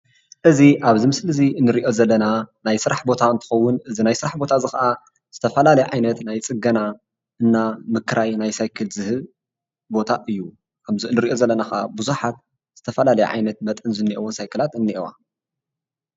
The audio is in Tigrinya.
እዚ ኣብዚ ምስሊ እዚ ንሪኦ ዘለና ናይ ስራሕ ቦታ እንትከውን እዚ ናይ ስራሕ ቦታ እዚ ከዓ ዝተፈላለዩ ዓይነት ናይ ፅገና እና ምክራይ ናይ ሳይክል ዝህብ ቦታ እዩ። ከምቲ ንሪኦ ዘለና ከዓ ብዙሓት ዝተፈላለዩ ዓይነት መጠን ዘለወን ሳይክላት እኒአዋ